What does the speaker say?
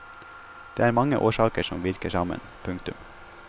Det er mange årsaker som virker sammen. punktum